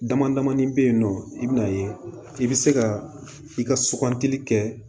Damadamanin bɛ yen nɔ i bɛna ye i bɛ se ka i ka sugantili kɛ